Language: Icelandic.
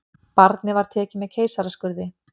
Barnið var tekið með keisaraskurði